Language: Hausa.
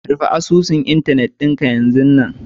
rufe asusun Internet dinka yazun nan